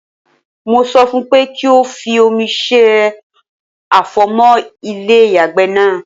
Mo sọ fún pé kí o fi òmi se àfọ̀mọ́ ilé ìyàgbẹ́ náà.